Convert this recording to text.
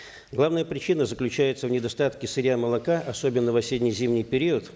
главная причина заключается в недостатке сырья молока особенно в осенне зимний период